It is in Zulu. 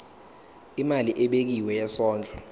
imali ebekiwe yesondlo